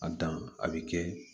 A dan a bi kɛ